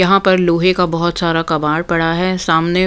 यहाँ पर लोहे का बहुत सारा कबाड़ पड़ा है सामने--